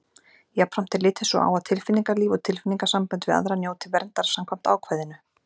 Jafnframt er litið svo á að tilfinningalíf og tilfinningasambönd við aðra njóti verndar samkvæmt ákvæðinu.